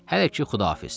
Hələ ki, Xudafiz.